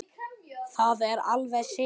Það er alveg synd